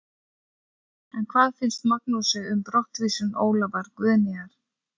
En hvað finnst Magnúsi um brottvísun Ólafar Guðnýjar?